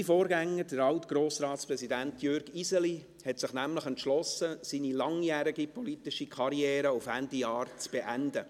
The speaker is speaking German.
Mein Vorgänger, Altgrossratspräsident Jürg Iseli, hat sich nämlich entschlossen, seine langjährige politische Karriere auf Ende Jahr zu beenden.